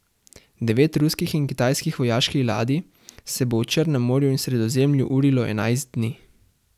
Devet ruskih in kitajskih vojaških ladij se bo v Črnem morju in Sredozemlju urilo enajst dni.